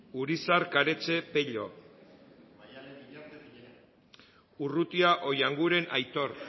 urizar karetxe pello urrutia oianguren aitor